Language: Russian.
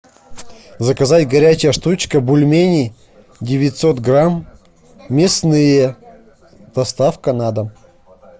заказать горячая штучка бульмени девятьсот грамм мясные доставка на дом